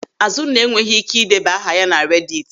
Azụnna enweghị ị́ké ideba aha ya na rediti.